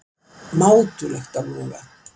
Mátulegt á Loga